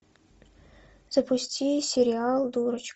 запусти сериал дурочка